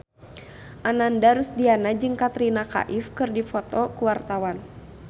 Ananda Rusdiana jeung Katrina Kaif keur dipoto ku wartawan